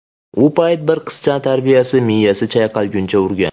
U payt bir qizni tarbiyachisi miyasi chayqalguncha urgan.